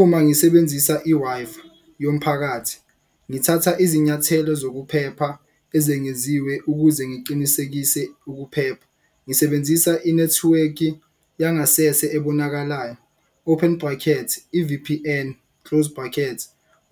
Uma ngisebenzisa i-Wi-Fi yomphakathi ngithatha izinyathelo zokuphepha ezengeziwe ukuze ngiqinisekise ukuphepha. Ngisebenzisa inethiwekhi yangasese ebonakalayo open brackets i-V_P_N close brackets